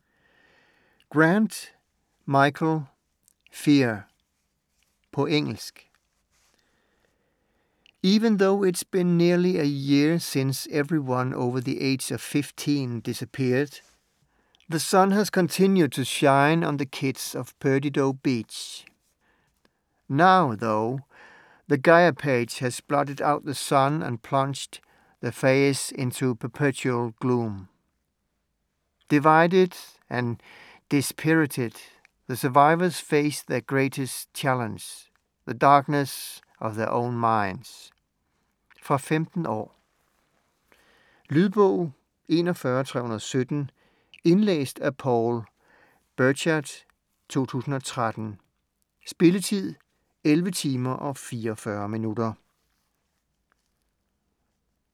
Grant, Michael: Fear På engelsk. Even though it's been nearly a year since everyone over the age of 15 disappeared, the sun has continued to shine on the kids of Perdido Beach. Now, though, the gaiaphage has blotted out the sun and plunged the FAYZ into perpetual gloom. Divided and dispirited, the survivors face their greatest challenge - the darkness of their own minds. Fra 15 år. Lydbog 41317 Indlæst af Paul Birchard, 2013. Spilletid: 11 timer, 44 minutter.